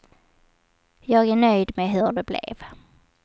Jag är nöjd med hur det blev.